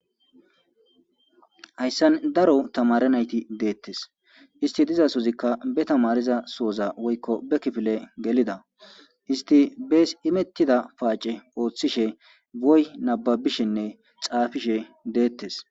Hayssan daro tamare nayti deettes isti diza suzikka be tamariza sooza woykko be kifile gelida isti bees imettida paace ooththishe boy nababishinne xaafishe deettes.